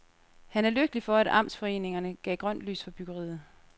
Han er lykkelig for, at amtsforeningerne gav grønt lys for byggeriet.